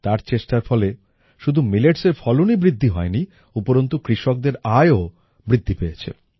তার চেষ্টার ফলে শুধু milletsএর ফলনই বৃদ্ধি হয়নি উপরন্তু কৃষকদের আয়ও বৃদ্ধি হয়েছে